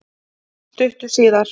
Stuttu síðar